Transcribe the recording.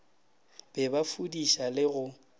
be ba fudiša le go